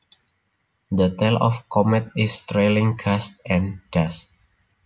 The tail of a comet is trailing gas and dust